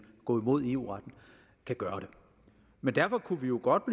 gå imod eu retten kan gøre det men derfor kunne vi jo godt